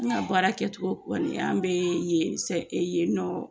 An ka baara kɛcogo an bɛ ye nɔ